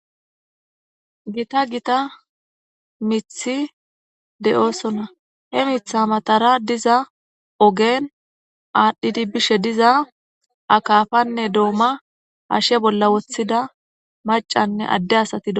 Gita gita mithi de7oosona. He mitha matara diza ogen aadhdhidi bishe diza akafanne dooma hashe bolla wothida macanne adde asati do.